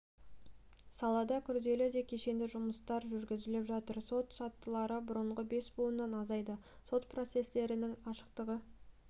салада күрделі де кешенді жұмыстар жүргізіліп жатыр сот сатылары бұрынғы бес буыннан азайды сот процестерінің ашықтығы